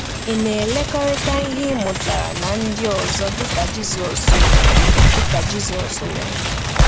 Ị na-ekekọrịta ihe ị mụtara na ndị ọzọ dịka Jizọs mere? dịka Jizọs mere?